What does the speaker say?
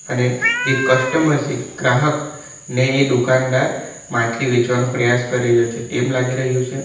ને જે કસ્ટમર છે ગ્રાહક ને એ દુકાનદાર માછલી વેચવાનો પ્રયાસ કરી રહ્યો છે તેમ લાગી રહ્યું છે.